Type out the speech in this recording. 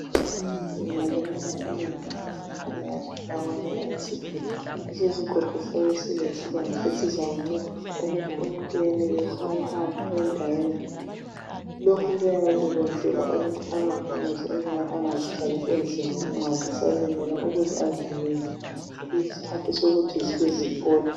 Umuntu angalimala unyawo abezempilakahle bakunika isigodo. Leso sigodo siyabe silesibambo esizakuncedisa ukuthi umuntu yenelise ukuhamba endaweni. Lokhu kuyabe kuyenzela ukuthi akaphumuze inyawo angazithwalisi nzima nxa zisalimele ukuze azinikeze iskhathi sokuthi zibe ziphola.